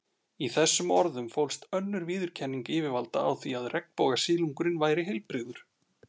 Í þessum orðum fólst önnur viðurkenning yfirvalda á því að regnbogasilungurinn væri heilbrigður.